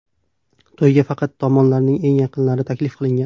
To‘yga faqat tomonlarning eng yaqinlari taklif qilingan.